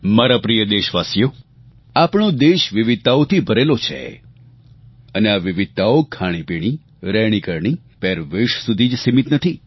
મારા પ્રિય દેશવાસીઓ આપણો દેશ વિવિધતાઓથી ભરેલો છે અને આ વિવિધતાઓ ખાણીપીણી રહેણીકરણી પહેરવેશ સુધી જ સીમિત નથી